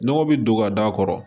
Nɔgɔ bi don ka da a kɔrɔ